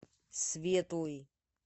светлый